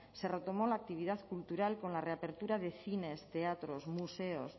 se retomó la actividad cultural con la reapertura de cines teatros museos